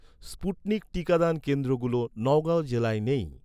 Sputnik টিকাদান কেন্দ্রগুলো নগাঁও জেলায় নেই